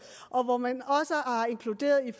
og hvor man også har inkluderet